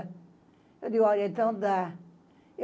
Eu disse, olha, então dá.